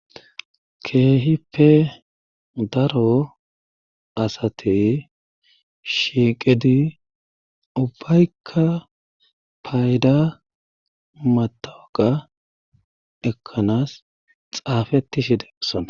keehipe daro asatey shiiqedi ubbaykka payda matawaqa ekkanaas xaafetishi desona